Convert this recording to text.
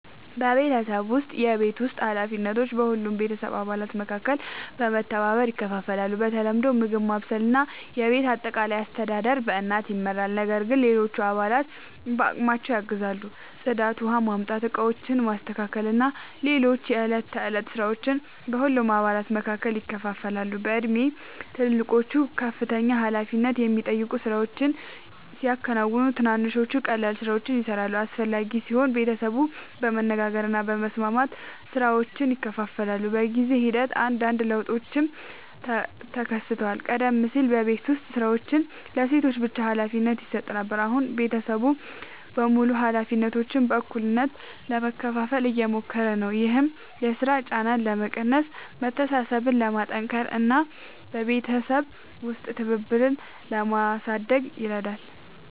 በቤተሰባችን ውስጥ የቤት ውስጥ ኃላፊነቶች በሁሉም የቤተሰብ አባላት መካከል በመተባበር ይከፋፈላሉ። በተለምዶ ምግብ ማብሰል እና የቤት አጠቃላይ አስተዳደር በእናት ይመራል፣ ነገር ግን ሌሎች አባላትም በአቅማቸው ያግዛሉ። ጽዳት፣ ውኃ ማምጣት፣ ዕቃዎችን ማስተካከል እና ሌሎች የዕለት ተዕለት ሥራዎች በሁሉም አባላት መካከል ይከፋፈላሉ። በእድሜ ትልልቆቹ ከፍተኛ ኃላፊነት የሚጠይቁ ሥራዎችን ሲያከናውኑ፣ ትንንሾቹ ቀላል ሥራዎችን ይሠራሉ። አስፈላጊ ሲሆን ቤተሰቡ በመነጋገር እና በመስማማት ሥራዎችን ይከፋፍላል። በጊዜ ሂደት አንዳንድ ለውጦችም ተከስተዋል። ቀደም ሲል የቤት ዉስጥ ሥራዎች ለሴቶች ብቻ ሀላፊነት ይሰጥ ነበር፣ አሁን ቤተሰቡ በሙሉ ኃላፊነቶችን በእኩልነት ለመካፈል እየሞከሩ ነው። ይህም የሥራ ጫናን ለመቀነስ፣ መተሳሰብን ለማጠናከር እና በቤተሰብ ውስጥ ትብብርን ለማሳደግ ይረዳል።